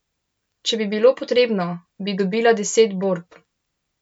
Če bi bilo potrebno, bi dobila deset borb.